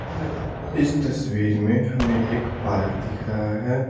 इस तस्वीर में हमें एक पार्क दिख रहा है।